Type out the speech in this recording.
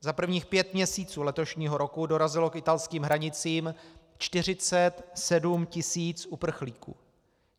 Za prvních pět měsíců letošního roku dorazilo k italským hranicím 47 tis. uprchlíků.